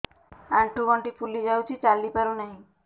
ଆଂଠୁ ଗଂଠି ଫୁଲି ଯାଉଛି ଚାଲି ପାରୁ ନାହିଁ